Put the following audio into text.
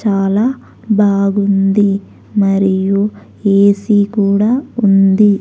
చాలా బాగుంది మరియు ఏ సీ కూడా ఉంది.